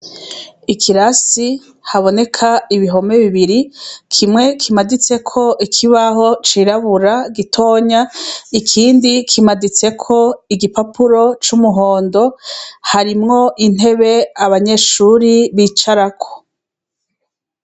Ikirasi, kiboneka ibihome bibiri, kimwe kimaditseko ikibaho cirabura gitonya, ikindi kimaditseko igipapuro c' umuhondo, harimwo intebe abanyeshuri bicarako.